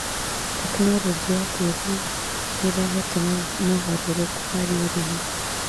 Tekinorojĩ ya kĩrĩu nĩĩrehete mogarũrũku harĩ ũrĩmi